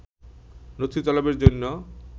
নথি তলবের জন্য